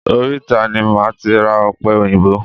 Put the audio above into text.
Oríta ni máa ti ra ọ̀pẹ òyìnbó.